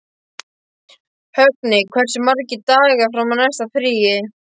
Högni, hversu margir dagar fram að næsta fríi?